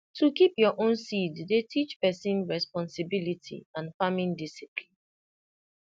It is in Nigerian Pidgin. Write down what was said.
to keep your own seed dey teach person responsibility and farming discipline